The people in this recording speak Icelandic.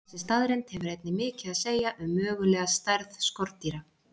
Þessi staðreynd hefur einnig mikið að segja um mögulega stærð skordýra.